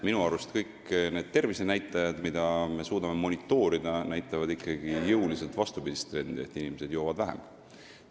Minu arust näitavad kõik need tervisenäitajad, mida me suudame monitoorida, ikkagi jõuliselt vastupidist trendi – inimesed joovad vähem.